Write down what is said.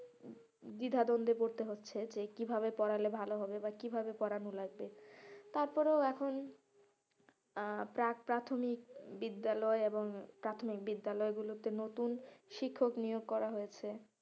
দ্বিধাদ্বন্দে পড়তে হচ্ছে যে কিভাবে পড়ালে ভালো হবে বা কিভাবে পড়ানো লাগবে, তারপরে এখন আহ প্রাগ~ প্রাথমিক বিদ্যালয় এবং প্রাথমিক বিদ্যালয় গুলোতে নতুন শিক্ষক নিয়োগ করা হয়েছে,